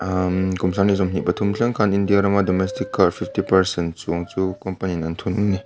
umm kum sanghnih pathum thleng khan india rama domestic car fifty percent chuang chu company in an thunun a ni.